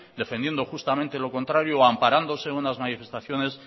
defendiendo justamente lo contrario amparándose en unas manifestaciones